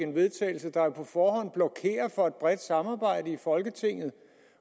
vedtagelse der på forhånd blokerer for et bredt samarbejde i folketinget